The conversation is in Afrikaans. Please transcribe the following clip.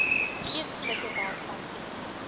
geestelike welstand ten